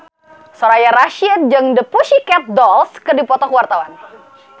Soraya Rasyid jeung The Pussycat Dolls keur dipoto ku wartawan